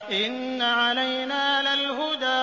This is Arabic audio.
إِنَّ عَلَيْنَا لَلْهُدَىٰ